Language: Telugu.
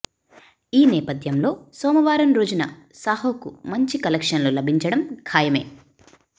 ఈ నేపథ్యంలో సోమవారం రోజున సాహోకు మంచి కలెక్షన్లు లభించడం ఖాయమే